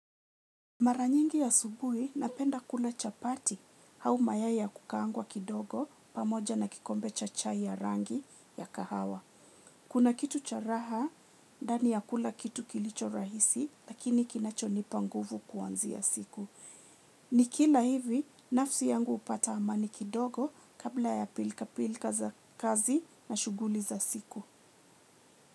Mara nyingi asubuhi napenda kula chapati au mayai ya kukaangwa kidogo pamoja na kikombe cha chai ya rangi ya kahawa. Kuna kitu cha raha dani ya kula kitu kilicho rahisi lakini kinacho nipa nguvu kuanzia siku. Nikila hivi nafsi yangu hupata amani kidogo kabla ya pilka pilka za kazi na shughuli za siku.